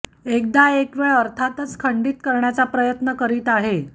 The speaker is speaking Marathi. एकदा एक वेळ अर्थातच खंडित करण्याचा प्रयत्न करीत आहे